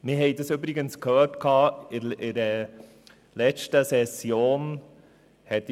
Wir haben es übrigens in der letzten Session gehört.